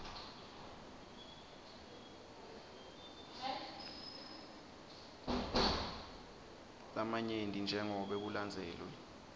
lamanyenti jengobe kulandzelwe